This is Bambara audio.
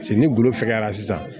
Paseke ni bolo fɛgɛra sisan